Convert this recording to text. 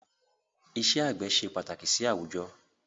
Ìṣe àgbẹ̀ ṣe pàtàkì sì àwùjọ